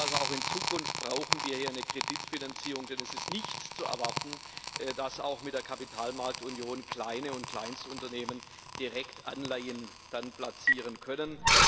Das heißt also Auch in Zukunft brauchen wir hier eine Kreditfinanzierung, denn es ist nicht zu erwarten, dass auch mit der Kapitalmarktunion kleine und Kleinstunternehmen Direktanleihen dann platzieren können.